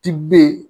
Ti ben